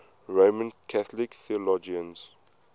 roman catholic theologians